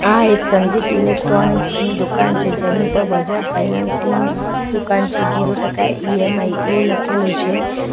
આ એક સંગીત ઇલેક્ટ્રોનિક્સ ની દુકાન છે જેની ઉપર બજાજ ફાઇનાન્સ ની દુકાન છે ઝીરો ટકા ઇ_એમ_આઇ એવું લખેલું છે.